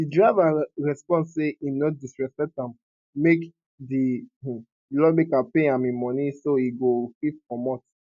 di driver respond say im no disrespect am make di um lawmaker pay am im money so e go fit comot